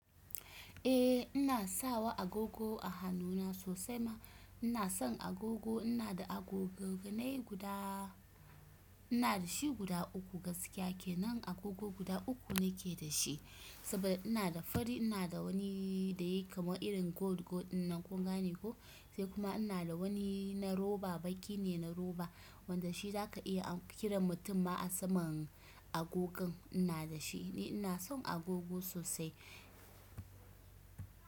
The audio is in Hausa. Eh ina sawa agogo a hannuna sosai ma ina son agogo. Ina da agoganai guda, ina da shi guda uku gaskiya kenan agogo guda uku nake da shi saboda ina da fari, ina da wani da yake kamar irin gold, gold ɗinnan kun gane ko? Sai kuma ina da wani na roba, baƙi ne na roba wanda shi za ka iya a kiran mutum ma a saman agogon ina da shi. Ni ina son agogo sosai.